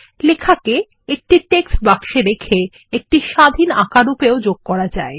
লেখাকে একটি টেক্সট বাক্সে রেখে একটি স্বাধীন আঁকা রূপেও যোগ করা যায়